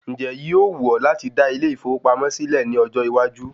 Ǹjẹ́ yíó wù ọ́ láti dá ilé ìfowópamọ́ sílẹ̀ ní ọjọ́ iwájú?